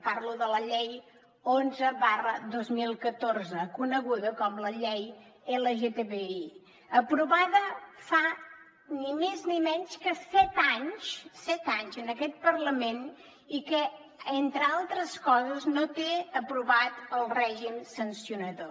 parlo de la llei onze dos mil catorze coneguda com la llei lgtbi aprovada fa ni més ni menys que set anys set anys en aquest parlament i que entre altres coses no té aprovat el règim sancionador